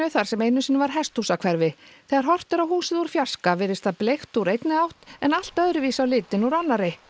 þar sem einu sinni var hesthúsahverfi þegar horft er á húsið úr fjarska virðist það bleikt úr einni átt en allt öðru vísi á litinn úr annarri